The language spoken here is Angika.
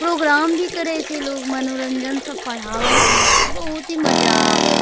प्रोग्राम भी करे छै लोग मनोरंजन सब पढ़वे छै मास्टर बहुत ही मजा आवै --